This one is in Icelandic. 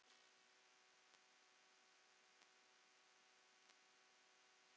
Heilsu Gústavs fór sífellt aftur.